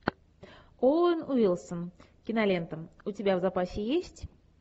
оуэн уилсон кинолента у тебя в запасе есть